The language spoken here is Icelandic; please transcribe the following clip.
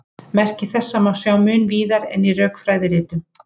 Merki þessa má sjá mun víðar en í rökfræðiritunum.